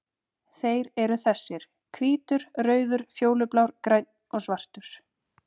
Þeir eru þessir: Hvítur, rauður, fjólublár, grænn og svartur.